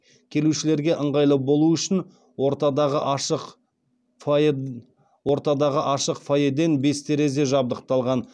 келушілерге ыңғайлы болуы үшін ортадағы ашық фоеден бес терезе жабдықталған